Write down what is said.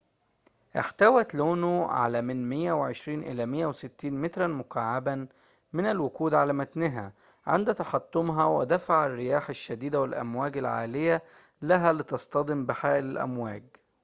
احتوت لونو على من 120 إلى 160 متراً مكعّباً من الوقود على متنها عند تحطمها ودفع الرياح الشديدة والأمواج العالية لها لتصطدم بحائل الأمواج